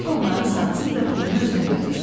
onları satsın və pulunu özünə götürsün.